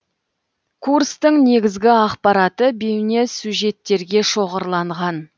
курстың негізгі ақпараты бейнесюжеттерге шоғырланған